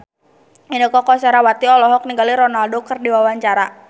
Inneke Koesherawati olohok ningali Ronaldo keur diwawancara